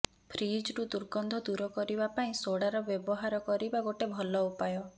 ଫ୍ରିଜରୁ ଦୁର୍ଗନ୍ଧ ଦୂର କରିବା ପାଇଁ ସୋଡାର ବ୍ୟବହାର କରିବା ଗୋଟେ ଭଲ ଉପାୟ